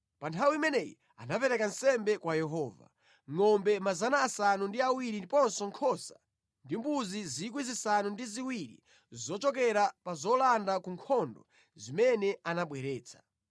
Pa nthawi imeneyi anapereka nsembe kwa Yehova, ngʼombe 700 ndiponso nkhosa ndi mbuzi 7,000 zochokera pa zolanda ku nkhondo zimene anabweretsa.